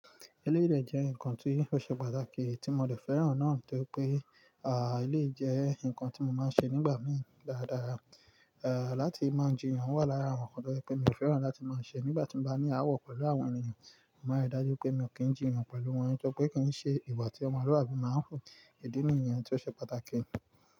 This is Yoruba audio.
Eléyìí de jẹ́ ǹkan tí ó ṣe pàtàkì tí mo de fẹ́ràn náà tó ri pé, ilé yìí jẹ́ ǹkan tí mo máa ń ṣe nígbà mí dáadáa, láti máa ń ji yan wà lára àwọn ǹkan tó jẹ́ pé mi ò fẹ́ràn láti máa ń ṣe nígbà tí mo bá ní awọ pẹ̀lú àwọn ènìyàn. Mo máa ń rí dájú pé mi ò kí ń jì yan pẹ̀lú wọn, nítorípé kí n ṣe ìwà tí ọmọlúàbí máa ń wu, ìdi nìyàn tí ó ṣe pàtàkì.